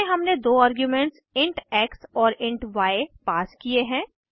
इनमें हमने दो आर्ग्यूमेंट्स इंट एक्स और इंट य पास किये हैं